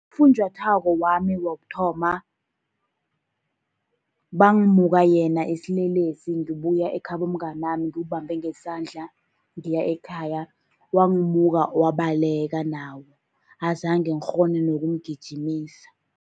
Ufunjathwako wami wokuthoma bangimuka yena isilelesi ngibuya ekhabo mnganami, ngimbambe ngesandla, ngiya ekhaya. Wangimuka wabaleka nawo, azange ngikghone nokumgijimisa.